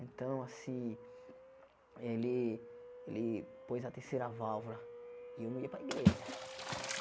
Então, assim, ele ele pôs a terceira válvula e eu não ia para a igreja.